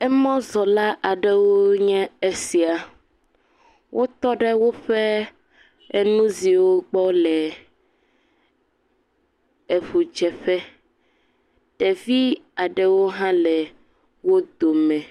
Emzɔla aɖewo nye esia. Wotɔ ɖe woƒe enuziwo kpɔ le eŋudzeƒe. Ɖevi aɖewo hã le wo dome.